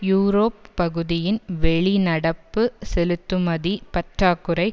Europe பகுதியின் வெளி நடப்பு செலுத்துமதி பற்றாக்குறை